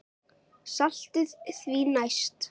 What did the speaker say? Saltið því næst.